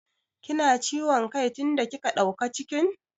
Ki na ciwom kai tin da kika ɗauka cikin?